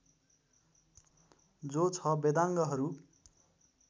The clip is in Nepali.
जो ६ वेदाङ्गहरू